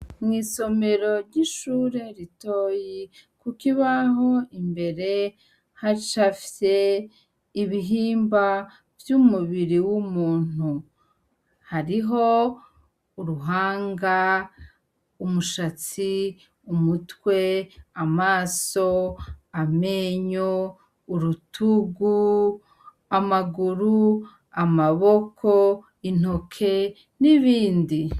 Mwisomero ryishure ritoyi kukibaho imbere hacafye ibihimba vyumubiri wumuntu hariho uruhanga, umushatsi, umutwe, amaso, amenyo, urutugu, amaguru, amaboko, intoke, nibindi..